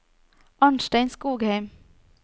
Arnstein Skogheim